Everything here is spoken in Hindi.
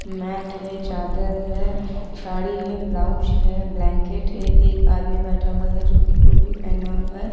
मैट है चादर है साड़ी है ब्लाउज है ब्लैंकेट है एक आदमी बैठा हुआ है जो कि टोपी पहना हुआ है।